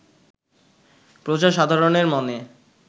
প্রজাসাধারণের মনে